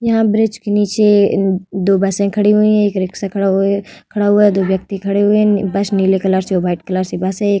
यहां ब्रिज की नीचे दो बसे खड़ी हुई है। एक रिक्शा खड़ा हुए खड़ा हुआ है। दो व्यक्ति खड़े हुए है। बस नीले कलर से व्हाइट कलर से बस है।